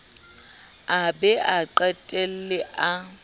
a be a qetelle a